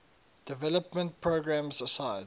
development programs aside